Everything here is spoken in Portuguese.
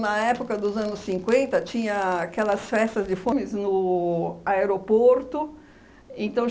Na época dos anos cinquenta, tinha aquelas festas de fones no aeroporto. Então